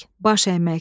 baş əymək.